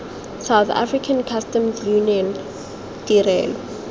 south african customs union tirelo